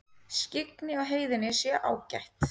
Skyggni á heiðinni sé ágætt